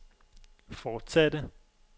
fortsatte